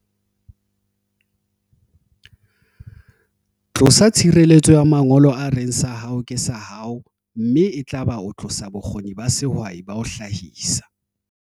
'Tlosa tshireletso ya mangolo a reng sa hao ke sa hao, mme e tla ba o tlosa bokgoni ba sehwai ba ho hlahisa'.